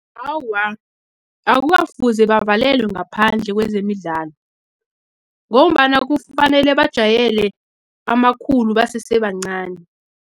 Awa, akukafuze bavalelwe ngaphandle kwezemidlalo, ngombana kufanele bajwayele amakhulu basese bancani.